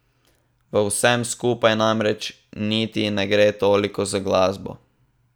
V vsem skupaj namreč niti ne gre toliko za glasbo.